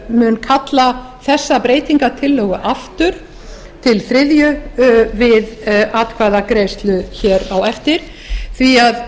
mun kalla þessa breytingartillögu aftur til þriðju umræðu við atkvæðagreiðslu á eftir því að